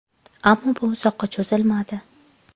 Ammo bu uzoqqa cho‘zilmadi.